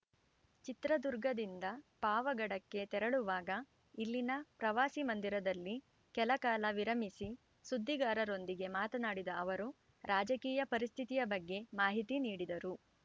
ಚಿತ್ರದುರ್ಗದಿಂದ ಪಾವಗಡಕ್ಕೆ ತೆರಳುವಾಗ ಇಲ್ಲಿನ ಪ್ರವಾಸಿ ಮಂದಿರದಲ್ಲಿ ಕೆಲಕಾಲ ವಿರಮಿಸಿ ಸುದ್ದಿಗಾರರೊಂದಿಗೆ ಮಾತನಾಡಿದ ಅವರು ರಾಜಕೀಯ ಪರಿಸ್ಥಿತಿಯ ಬಗ್ಗೆ ಮಾಹಿತಿ ನೀಡಿದರು